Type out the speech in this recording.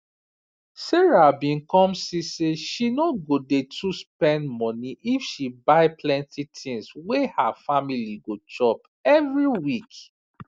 sarah bin come see say she no go dey to spend money if she buy plenty tins wey her family go chop every week